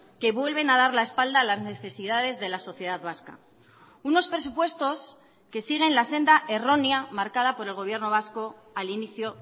que vuelven a dar la espalda a las necesidades de la sociedad vasca unos presupuestos que siguen la senda errónea marcada por el gobierno vasco al inicio